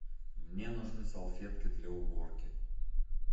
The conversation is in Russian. мне нужны салфетки для уборки